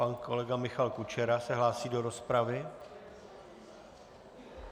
Pan kolega Michal Kučera se hlásí do rozpravy.